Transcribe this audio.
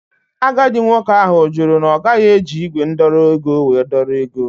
Agadi nwoke ahụ jụrụ na ogaghi eji igwe ndọrọ ego wee dọrọ ego.